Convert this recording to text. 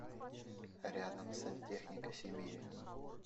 рядом сантехника сибири